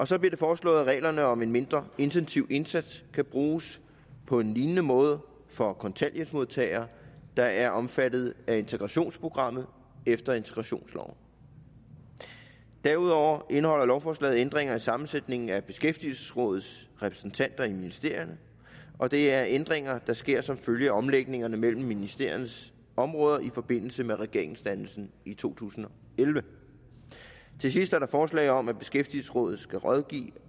så bliver det foreslået at reglerne om en mindre intensiv indsats kan bruges på en lignende måde for kontanthjælpsmodtagere der er omfattet af integrationsprogrammet efter integrationsloven derudover indeholder lovforslaget ændringer i sammensætningen af beskæftigelsesrådets repræsentanter i ministerierne og det er ændringer der sker som følge af omlægningerne mellem ministeriernes områder i forbindelse med regeringsdannelsen i to tusind og elleve til sidst er der forslag om at beskæftigelsesrådet skal rådgive